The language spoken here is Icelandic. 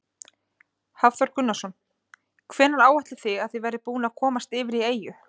Hafþór Gunnarsson: Hvenær áætlið þið að þið verðið búnir að komast yfir í eyju?